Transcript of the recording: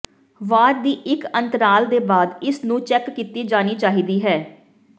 ਵਾਰ ਦੀ ਇੱਕ ਅੰਤਰਾਲ ਦੇ ਬਾਅਦ ਇਸ ਨੂੰ ਚੈੱਕ ਕੀਤੀ ਜਾਣੀ ਚਾਹੀਦੀ ਹੈ